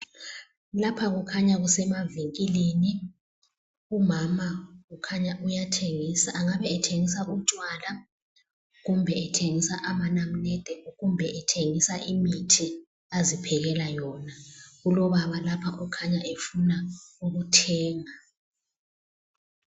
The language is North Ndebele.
Lapha kukhanya kusemavinkilini umama ukhanya uyathengisa angabe ethengisa utshwala kumbe ethengisa amanamunede, kumbe ethengisa imithi aziphekela yona. Kulobaba lapha okhanya efuna ukuthenga.